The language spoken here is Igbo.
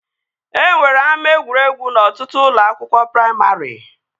E nwere ama egwuregwu n'ọtụtụ ụlọ akwụkwọ praimarị